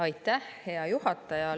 Aitäh, hea juhataja!